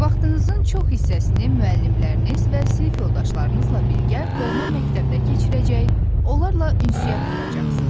Vaxtınızın çox hissəsini müəllimləriniz və sinif yoldaşlarınızla birgə doğma məktəbdə keçirəcək, onlarla ünsiyyət quracaqsınız.